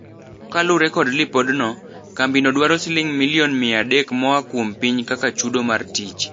Kalure kod lipodno, kambi no dwaro siling milion mia adek moa kuom piny kaka chudo mar tich.